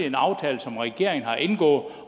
en aftale som regeringen har indgået